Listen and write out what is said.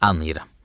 Anlayıram.